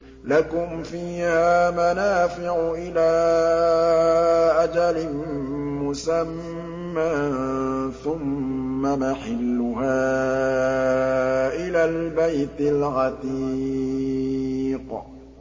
لَكُمْ فِيهَا مَنَافِعُ إِلَىٰ أَجَلٍ مُّسَمًّى ثُمَّ مَحِلُّهَا إِلَى الْبَيْتِ الْعَتِيقِ